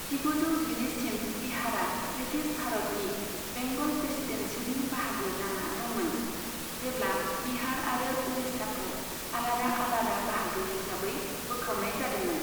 जिगुजौ जिनैसिम बिहारआ ब्रिटिश भारतनि बेंगल प्रेसीडेन्सीनि बाहागो जाना दंमोन, जेब्ला बिहार आरो उड़ीसाखौ आलादा आलादा बाहागो हिसाबै बोखावनाय जादोंमोन।